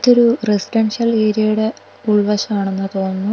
ഇതൊരു റെസിഡൻഷ്യൽ ഏരിയേടെ ഉൾവശം ആണെന്ന തോന്നുന്നു.